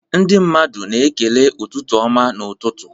Ndị mmadụ na-ekele ụtụtụ ọma n'ụtụtụ.